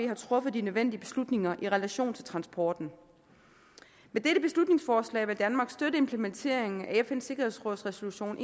har truffet de nødvendige beslutninger i relation til transporten med dette beslutningsforslag vil danmark støtte implementeringen af fns sikkerhedsråds resolution